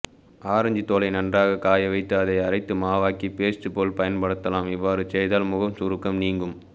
orange தோலை நன்றாக காயவைத்து அதை அரைத்து மாவாக்கி பெஸ்ட் போல் பயன்படுத்தலாம் இவ்வறு ச்ய்தால் முகம் சுருக்கம் நீங்கும்